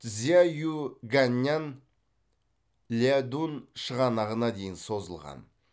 цзяюйганьнан ляодун шығанағына дейін созылған